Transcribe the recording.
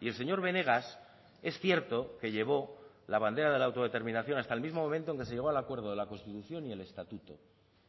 y el señor benegas es cierto que llevó la bandera de la autodeterminación hasta el mismo momento en que se llegó al acuerdo de la constitución y el estatuto